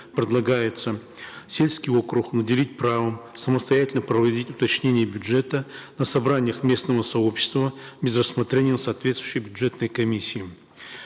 предлагается сельский округ наделить правом самостоятельно проводить уточнение бюджета на собраниях местного сообщества без рассмотрения на соответствующей бюджетной комиссии